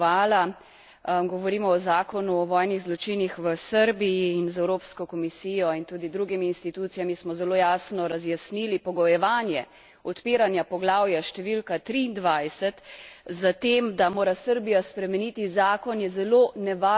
Govorimo o zakonu o vojnih zločinih v Srbiji in z Evropsko komisijo in tudi drugimi institucijami smo zelo jasno razjasnili pogojevanje odpiranja poglavja številka triindvajset s tem, da mora Srbija spremeniti zakon, je zelo nevaren precedens.